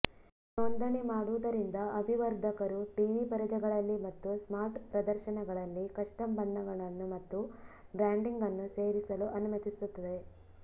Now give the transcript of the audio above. ನೋಂದಣಿ ಮಾಡುವುದರಿಂದ ಅಭಿವರ್ಧಕರು ಟಿವಿ ಪರದೆಗಳಲ್ಲಿ ಮತ್ತು ಸ್ಮಾರ್ಟ್ ಪ್ರದರ್ಶನಗಳಲ್ಲಿ ಕಸ್ಟಮ್ ಬಣ್ಣಗಳನ್ನು ಮತ್ತು ಬ್ರ್ಯಾಂಡಿಂಗ್ ಅನ್ನು ಸೇರಿಸಲು ಅನುಮತಿಸುತ್ತದೆ